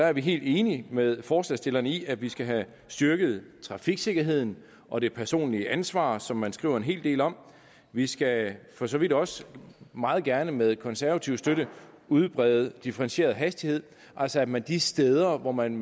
er vi helt enige med forslagsstillerne i at vi skal have styrket trafiksikkerheden og det personlige ansvar som man skriver en hel del om vi skal for så vidt også meget gerne med konservativ støtte udbrede differentieret hastighed altså at man de steder hvor man